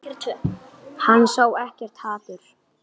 Hann sá ekkert hatur.